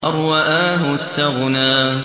أَن رَّآهُ اسْتَغْنَىٰ